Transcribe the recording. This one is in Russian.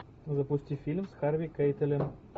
запусти фильм с харви кейтелем